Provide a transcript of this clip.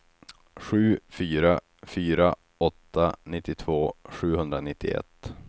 sju fyra fyra åtta nittiotvå sjuhundranittioett